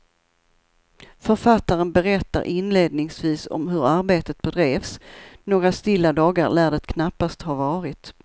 Författaren berättar inledningsvis om hur arbetet bedrevs, några stilla dagar lär det knappast ha varit.